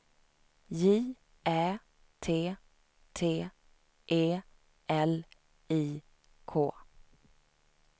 J Ä T T E L I K